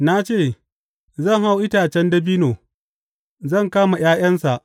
Na ce, Zan hau itacen dabino; zan kama ’ya’yansa.